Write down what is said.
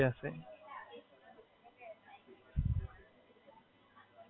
ના, ના બાઇક લઈને આવું છું ને. હમણાં ટ્રેનિંગ ચાલે છે ને એટલે આ સવારે આઠ થી પાંચ નો ટાઇમ છે. પછી કહશે જે હશે એ.